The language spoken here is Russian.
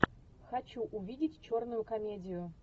хочу увидеть черную комедию